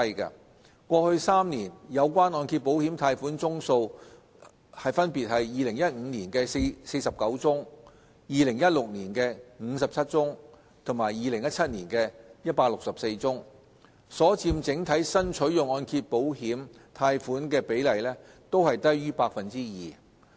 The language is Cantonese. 過去3年有關按揭保險貸款宗數分別為2015年的49宗 ，2016 年的57宗和2017年的164宗，所佔整體新取用按揭保險貸款的比例均低於 2%。